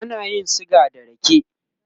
ana yin suga da rake